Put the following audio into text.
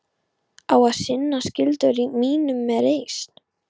Á að sinna skyldu mínum með reisn.